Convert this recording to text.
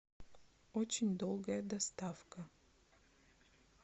очень долгая доставка